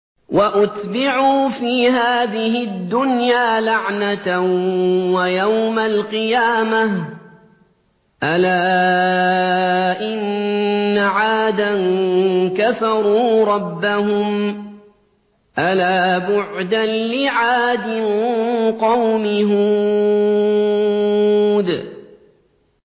وَأُتْبِعُوا فِي هَٰذِهِ الدُّنْيَا لَعْنَةً وَيَوْمَ الْقِيَامَةِ ۗ أَلَا إِنَّ عَادًا كَفَرُوا رَبَّهُمْ ۗ أَلَا بُعْدًا لِّعَادٍ قَوْمِ هُودٍ